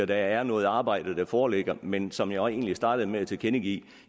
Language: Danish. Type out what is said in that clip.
der er noget arbejde der foreligger men som jeg egentlig startede med at tilkendegive